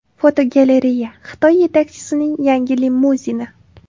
Fotogalereya: Xitoy yetakchisining yangi limuzini.